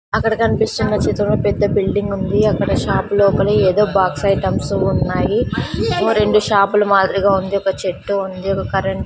అక్కడ కనిపిస్తున్న చిత్రంలో పెద్ద బిల్డింగ్ ఉంది అక్కడ షాపు లోపల ఏదో బాక్స్ ఐటమ్స్ ఉన్నాయి ఓ రెండు షాపుల మాదిరిగా ఉంది ఒక చెట్టు ఉంది ఒక కరెంట్ --